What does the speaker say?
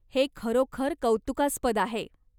हे खरोखर कौतुकास्पद आहे.